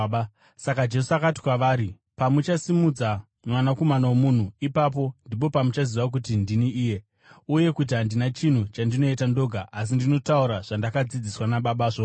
Saka Jesu akati kwavari, “Pamuchasimudza Mwanakomana woMunhu, ipapo ndipo pamuchaziva kuti ndini iye, uye kuti handina chinhu chandinoita ndoga asi ndinotaura zvandakadzidziswa naBaba zvoga.